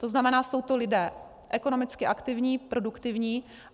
To znamená, jsou to lidé ekonomicky aktivní, produktivní.